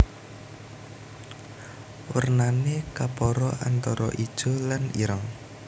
Wernané kapara antara ijo lan ireng